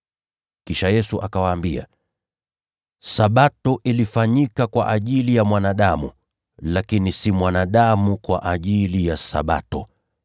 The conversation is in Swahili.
Kisha Yesu akawaambia, “Sabato ilifanyika kwa ajili ya mwanadamu, lakini si mwanadamu kwa ajili ya Sabato.